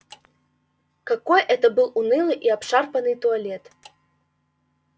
какой это был унылый и обшарпанный туалет